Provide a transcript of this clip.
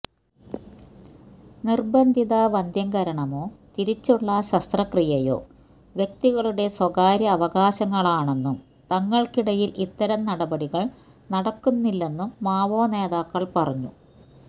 നിര്ബന്ധിത വന്ധ്യംകരണമോ തിരിച്ചുള്ള ശസ്ത്രക്രിയയോ വ്യക്തികളുടെ സ്വകാര്യ അവകാശങ്ങളാണെന്നും തങ്ങള്ക്കിടയില് ഇത്തരം നടപടികള് നടക്കുന്നില്ലെന്നും മാവോനേതാക്കള് പറഞ്ഞു